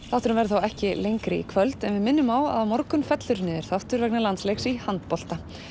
þátturinn verður þá ekki lengri í kvöld en við minnum á að á morgun fellur niður þáttur vegna landsleiks í handbolta